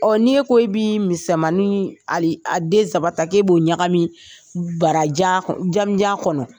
Ɔ n'i ye ko i bɛ misɛnmanin a den saba ta k'e b'o ɲagami barajan janmanjan kɔnɔ